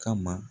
Kama